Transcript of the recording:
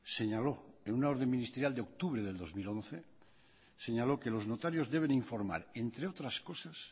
señaló en una orden ministerial de octubre del dos mil once señaló que los notarios deben informar entre otras cosas